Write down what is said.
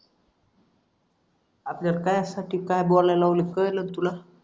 आपल्या काय साठी काय बोलायला लावलाय कळलं तुला